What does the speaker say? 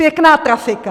Pěkná trafika!